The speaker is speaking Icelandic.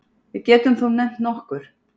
Við getum þó nefnt nokkur.